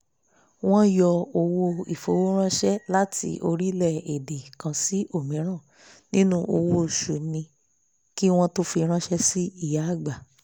wọn yọ owó ìfowóránsẹ́ láti orílẹ̀-èdè kan sí òmíràn nínú owó oṣù mi kí wọ́n tó fi ránsẹ́ sí ìyàgbà